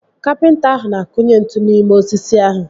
Kapịnta ahụ na-akunye ntu n'ime osisi ahụ